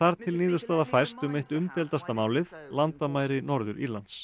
til niðurstaða fæst um eitt umdeildasta málið landamæri Norður Írlands